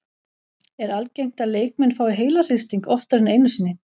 Er algengt að leikmenn fái heilahristing oftar en einu sinni?